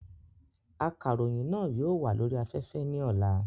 Akàròyìn náà yóò wà lórí afẹ́fẹ́ ní ọlá